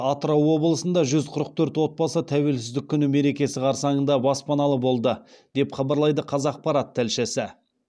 атырау облысында жүз қырық төрт отбасы тәуелсіздік күні мерекесі қарсаңында баспаналы болды деп хабарлайды қазақпарат тілшісі